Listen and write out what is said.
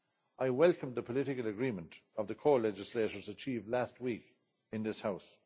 I welcome the political agreement of the co legislators achieved last week in this House.